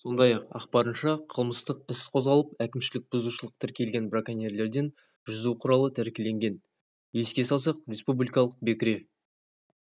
сондай-ақ ақпарынша қылмыстық іс қозғалып әкімшілік бұзушылық тіркелген браконьерлерден жүзу құралы тәркіленген еске салсақ республикалық бекіре